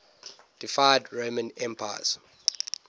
deified roman emperors